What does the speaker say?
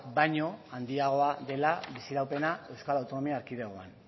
baino handiagoa dela biziraupena euskal autonomia erkidegoan